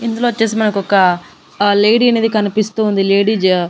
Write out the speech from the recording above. ఇందులొచ్చేసి మనకొక ఆ లేడీ అనేది కనిపిస్తూ ఉంది లేడి జా--